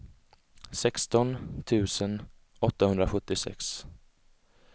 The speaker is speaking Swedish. sexton tusen åttahundrasjuttiosex